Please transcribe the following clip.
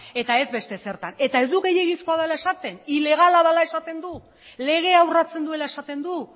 eta ez beste zertan eta ez du gehiegizkoa dela esaten ilegala dela esaten du legea urratzen duela esaten du